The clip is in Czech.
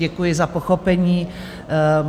Děkuji za pochopení.